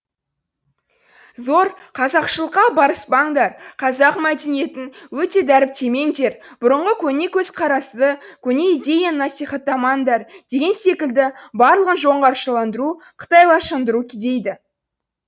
зор қазақшылыққа барыспаңдар қазақ мәдениетін өте дәріптемеңдер бұрыңғы көне көзқарасты көне идеяны насихаттамаңдар деген секілді барлығын жоңғаршаландыру қытайшаландыру дейді